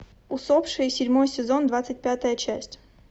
усопшие седьмой сезон двадцать пятая часть